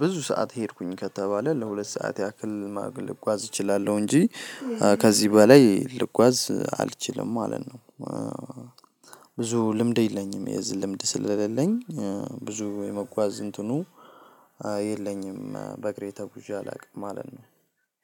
ብዙ ሰዓት ሄድኩኝ ከተባለ ለሁለት ሰዓት ያክል ልጓዝ እችላለሁ እንጂ ከዚህ በላይ ልጓዝ አልችልም ማለት ነው። ብዙ ልምድ የለኝም የዚህ ልምድ ስለሌለኝ ብዙ የመጓዝ እንትኑ አይ የለኝም። በእግሬ ተጉዤ አላውቅም ማለት ነው።